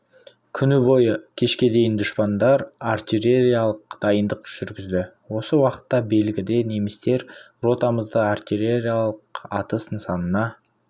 күні бойы кешке дейін дұшпандар артиллериялық дайындық жүргізді осы уақытта белгіде немістер ротамызды артиллериялық атыс нысанасына